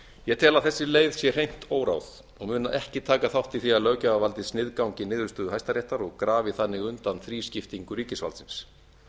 ég tel að þessi leið sé hreint óráð og mun ekki taka þátt í því að löggjafarvaldið sniðgangi niðurstöðu hæstaréttar og grafi þannig undan þrískiptingu ríkisvaldsins